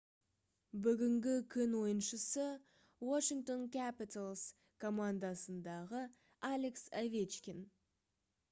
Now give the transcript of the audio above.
бүгінгі күн ойыншысы washington capitals командасындағы алекс овечкин